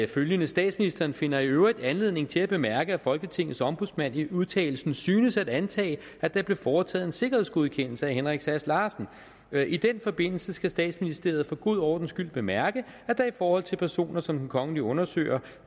følgende statsministeren finder i øvrigt anledning til at bemærke at folketingets ombudsmand i udtalelsen synes at antage at der blev foretaget en sikkerhedsgodkendelse af henrik sass larsen i den forbindelse skal statsministeriets for god ordens skyld bemærke at der i forhold til personer som den kongelige undersøger